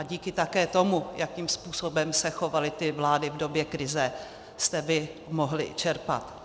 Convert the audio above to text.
A díky také tomu, jakým způsobem se chovaly ty vlády v době krize, jste vy mohli čerpat.